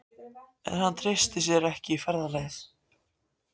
En hann treysti sér ekki í ferðalagið.